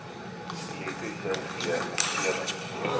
elektriese g omgewings